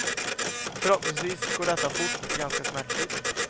Förhoppningsvis går detta fort och ganska smärtfritt.